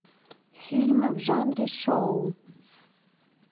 фильмы в жанре шоу